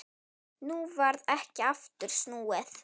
Nú varð ekki aftur snúið.